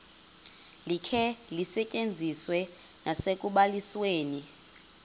likhe lisetyenziswe nasekubalisweni